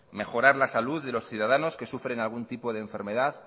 mejorar la salud de los ciudadanos que sufren algún tipo de enfermedad